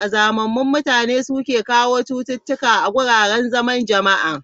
Kazamamun mutane, su ne ke kawo chututuka a wuraren zaman jama'a.